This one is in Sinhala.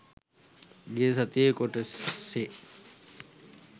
ගිය සතියේ කොටසේ